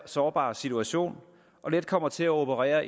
sårbar situation og let kommer til at operere